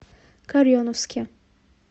кореновске